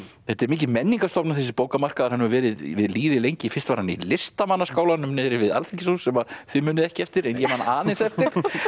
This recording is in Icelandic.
þetta er mikil menningarstofnun þessi bókamarkaður hann hefur verið við lýði lengi fyrst var hann í Listamannaskálanum niðri við alþingishús sem að þið munið ekki eftir en ég man aðeins eftir